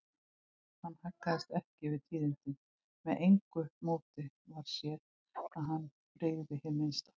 Hann haggaðist ekki við tíðindin, með engu móti varð séð að honum brygði hið minnsta.